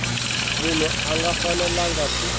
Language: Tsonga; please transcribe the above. munhu a nga fanelangi ku